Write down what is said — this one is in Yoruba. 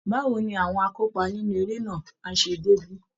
Báwo ni àwọn akópa nínú eré náà á ṣe débí?